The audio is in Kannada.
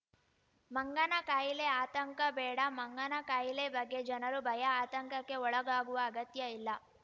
ಮಂಗನ ಖಾಯಿಲೆ ಆತಂಕ ಬೇಡ ಮಂಗನ ಖಾಯಿಲೆ ಬಗ್ಗೆ ಜನರು ಭಯಆತಂಕಕ್ಕೆ ಒಳಗಾಗುವ ಅಗತ್ಯ ಇಲ್ಲ